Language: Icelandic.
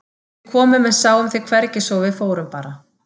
Við komum en sáum þig hvergi svo að við fórum bara.